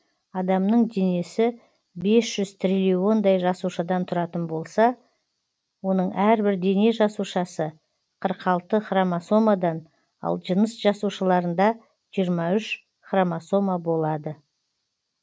адамның денесі бес жүз триллиондай жасушадан тұратын болса оның әрбір дене жасушасы қырық алты хромосомадан ал жыныс жасушаларында жиырма үш хромосома болады